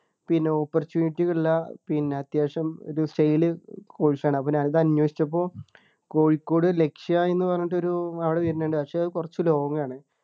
പിന്നെ opportunity ഉള്ള പിന്നെ അത്യാവശ്യം ഒരു sale course ആണ് അപ്പൊ ഞാൻ ഇത് അന്വേഷിച്ചപ്പോ കോഴിക്കോട് ലക്ഷ്യ എന്ന് പറഞ്ഞിട്ട് ഒരു അവിടെ വരുന്നുണ്ട് പക്ഷേ അത് കുറച്ചു long ആണ്